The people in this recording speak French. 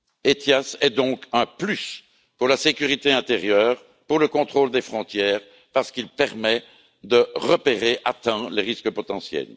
ETIAS est donc un plus pour la sécurité intérieure, pour le contrôle des frontières, parce qu'il permet de repérer à temps les risques potentiels.